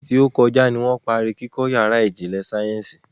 Ọ̀sẹ̀ tí ó kọjá ní wọ́n parí kíkọ́ yàrá ìjìnlẹ̀ sáyẹ́nsì